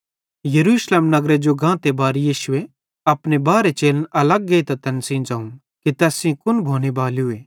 यरूशलेम नगरे जो गांते बार यीशुए अपने बारहे चेलन अलग नेइतां तैन सेइं ज़ोवं कि तैस सेइं कुन भोने बालूए